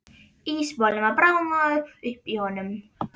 Ísmolinn var bráðnaður upp í honum.